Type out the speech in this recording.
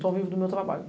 Só vivo do meu trabalho.